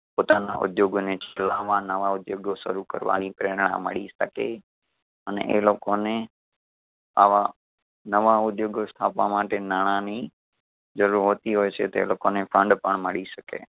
પોતાના ઉધ્યોગો ને ચલાવવા નવા ઉધ્યોગઓ શરૂ કરવાની પ્રેરણા મળી શકે. અને એ લોકો ને આવા નવા ઉધ્યોગો સ્થાપવા માટે નાણાં ની જરૂર હોતી હોય છે. તે લોકો ને ખાંડ પણ મળી શકે.